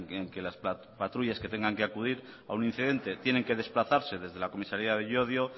en que las patrullas que tengan que acudir a un incidente tienen que desplazarse desde la comisaría de llodio